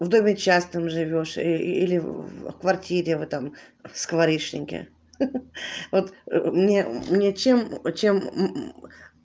в доме частном живёшь ээ или в квартире в этом скворечники ха ха вот мне мне чем чем